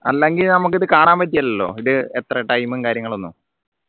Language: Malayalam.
അല്ലെങ്കിൽ നമുക്കിത് കാണാൻ പറ്റില്ലല്ലോ ഇത് എത്ര time ഉം കാര്യങ്ങൾ ഒന്നും